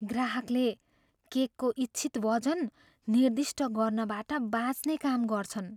ग्राहकले केकको इच्छित वजन निर्दिष्ट गर्नबाट बाँच्ने काम गर्छन्।